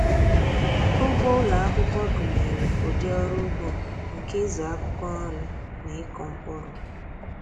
Ugbo ụlọ akwụkwọ gụnyere ụdị ọrụ ugbo nke ịzụ akwụkwọ nri na ịkụ mkpụrụ.